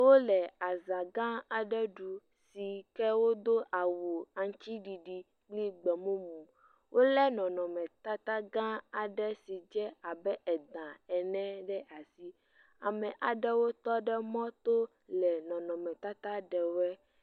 Wole azãgã aɖe ɖuu si ke wodo awu aŋutsiɖiɖi kple gbemumu. Wolé nɔnɔmetatagã aɖe si dze abe edã ene ɖe asi. Ame aɖewo tɔ ɖe mɔto wole nɔnɔmetata ɖewoe.